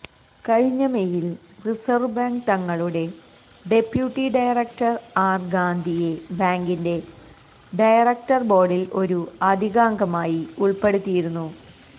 കഴിഞ്ഞ മെയിൽ reserve bank തങ്ങളുടെ ഡെപ്യൂട്ടി ഡയറക്ടർ ആർ ഗാന്ധിയെ ബാങ്കിന്റെ ഡയറക്ടർ ബോർഡിൽ ഒരു അധികാംഗമായി ഉൾപ്പെടുത്തിയിരുന്നു